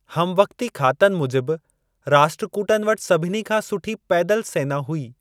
हमवक़्ती खातनि मूजिब राष्ट्रकूटनि वटि सभिनी खां सुठी पैदल सेना हुई।